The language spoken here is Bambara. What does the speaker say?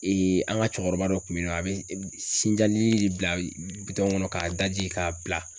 an ka cɛkɔrɔba dɔ kun bɛ yen nɔ a bɛ sinjalili de bila bitɔn kɔnɔ k'a daji k'a bila.